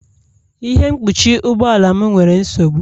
Ihe mkpuchi ụgbọ ala m nwere nsogbu